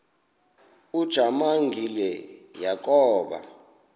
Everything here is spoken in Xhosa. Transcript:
ujamangi le yakoba